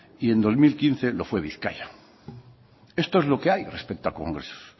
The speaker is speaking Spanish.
y en dos mil quince lo fue bizkaia esto es lo que hay respecto a congresos